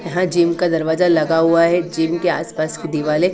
यहां जिम का दरवाजा लगा हुआ है जिम के आसपास की दीवालें --